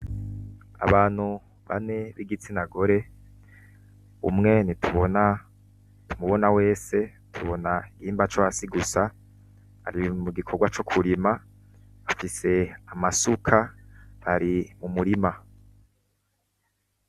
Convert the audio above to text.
Abantu bane b'igitsina gore, umwe ntitumubona wese tubona igihimba co hasi gusa. Ari mugikorwa co kurima afise amasuka bari mumurima.